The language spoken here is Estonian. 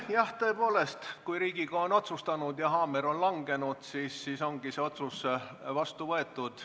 Jah, tõepoolest, kui Riigikogu on otsustanud ja haamer on langenud, siis ongi otsus vastu võetud.